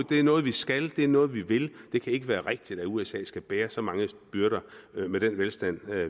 det er noget vi skal det er noget vi vil det kan ikke være rigtigt at usa skal bære så mange byrder med den velstand